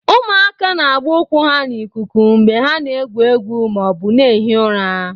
Ụmụaka na-agba ụkwụ ha n'ikuku mgbe ha na-egwu egwu ma ọ bụ na-ehi ụra.